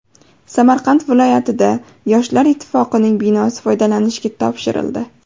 Samarqand viloyatida Yoshlar Ittifoqining binosi foydalanishga topshirildi.